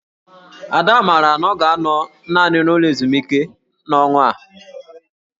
Ada maara na ọ ga-anọ naanị n'ụlọ ezumike n'ọnwa a